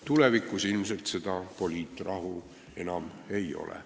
Tulevikus ilmselt seda poliitrahu enam ei ole.